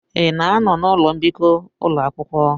Ị na-anọ n'ụlọ mbikọ ụlọ akwụkwọ?